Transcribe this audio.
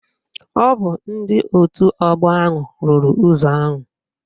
Ọ bụ ndị otu ọgbọ ahụ rụrụ ụzọ ahụ